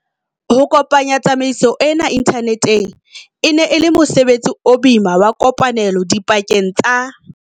Ho kopanya tsamaiso ena inthaneteng e ne e le mosebetsi o boima wa kopane lo dipakeng tsa.